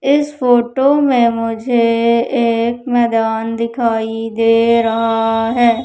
इस फोटो में मुझे एक मैदान दिखाई दे रहा है।